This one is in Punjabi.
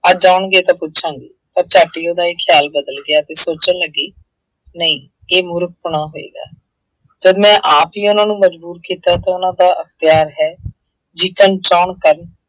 ਅੱਜ ਆਉਣਗੇ ਤਾਂ ਪੁੱਛਾਂਗੀ ਤਾਂ ਝੱਟ ਹੀ ਉਹਦਾ ਇਹ ਖਿਆਲ ਬਦਲ ਗਿਆ ਤੇ ਸੋਚਣ ਲੱਗੀ ਨਹੀਂ ਇਹ ਮੂਰਖ ਪਣਾ ਹੋਏਗਾ ਜਦ ਮੈਂ ਆਪ ਹੀ ਉਹਨਾਂ ਨੂੰ ਮਜ਼ਬੂਰ ਕੀਤਾ ਤਾਂ ਉਹਨਾਂ ਦਾ ਪਿਆਰ ਹੈ ਜਿੱਕਣ ਚਾਹੁਣ ਕਰਨ।